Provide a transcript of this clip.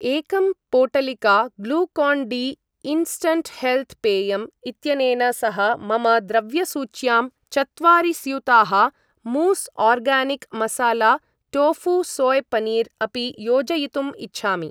एकं पोटलिका Glucon D instant health पेयम् इत्यनेन सह मम द्रव्यसूच्यां चत्वारि स्यूताः मूस् organic masala tofu soy paneer अपि योजयितुम् इच्छामि।